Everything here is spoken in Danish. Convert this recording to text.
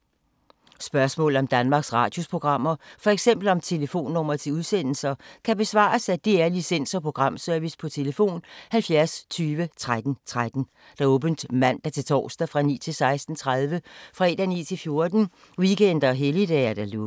Spørgsmål om Danmarks Radios programmer, f.eks. om telefonnumre til udsendelser, kan besvares af DR Licens- og Programservice: tlf. 70 20 13 13, åbent mandag-torsdag 9.00-16.30, fredag 9.00-14.00, weekender og helligdage: lukket.